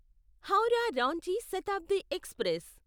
Howrah Ranchi Shatabdi express